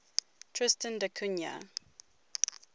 tristan da cunha